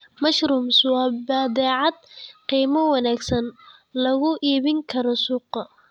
Mushrooms waa badeecad qiimo wanaagsan lagu iibin karo suuqa.